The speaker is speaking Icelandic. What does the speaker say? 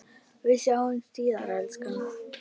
Við sjáumst síðar, elskan.